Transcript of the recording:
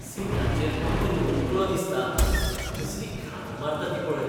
सीटाचेर कोण तरी ओंकलो दिसता, कसली घाण मारता ती पळय.